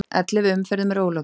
Ellefu umferðum er ólokið